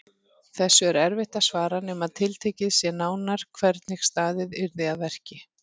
Þessu er erfitt að svara nema tiltekið sé nánar hvernig staðið yrði að verki.